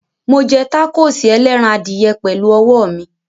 Mo jẹ tákóòsì ẹlẹ́ran adìyẹ pẹ̀lú ọwọ́ mi.